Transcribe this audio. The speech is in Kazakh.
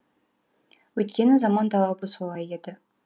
өйткені заман талабы солай еді